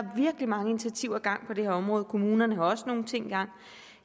virkelig mange initiativer i gang på det her område kommunerne har også nogle ting i gang